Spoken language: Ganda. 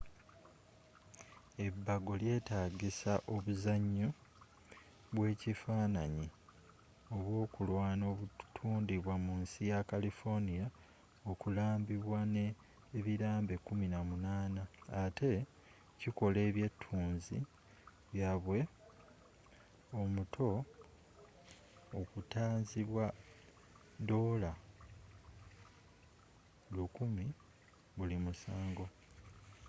ebago lyetaagisa obuzanyo bwekifananyi obwokulwana obutundibwa mu nsi ya califonia okulambibwa ne ebilambe 18” ate kikola ebyetunzi byaabwe omuto oktanzibwa $1000 buli musango